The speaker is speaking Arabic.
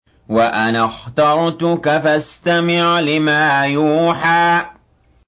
وَأَنَا اخْتَرْتُكَ فَاسْتَمِعْ لِمَا يُوحَىٰ